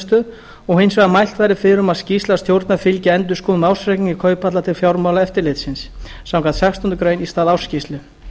verðbréfamiðstöð og hins vegar að mælt verði fyrir um að skýrsla stjórnar fylgi endurskoðuðum ársreikningi kauphallar til fjármálaeftirlitsins samkvæmt sextándu grein í stað ársskýrslu